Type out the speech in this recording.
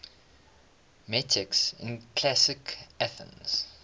metics in classical athens